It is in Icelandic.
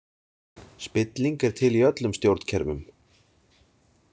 Spilling er til í öllum stjórnkerfum.